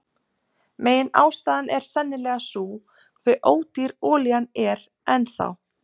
Meginástæðan er sennilega sú hve ódýr olían er enn þá.